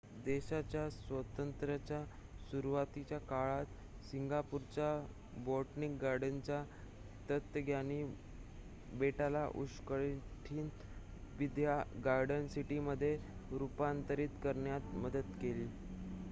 देशाच्या स्वातंत्र्याच्या सुरुवातीच्या काळात सिंगापूरच्या बोटॅनिक गार्डनच्या तज्ज्ञांनी बेटाला उष्णकटिबंधीय गार्डन सिटीमध्ये रूपांतरित करण्यात मदत केली